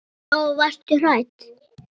Lóa: Varstu hrædd?